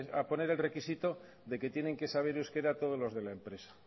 a poner el requisito de que tienen que saber euskara todos los de la empresa